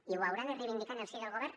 i ho haurà de reivindicar en el si del govern